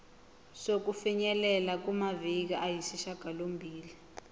sokufinyelela kumaviki ayisishagalombili